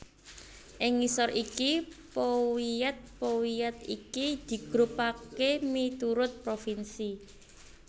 Ing ngisor iki powiat powiat iki digrupaké miturut provinsi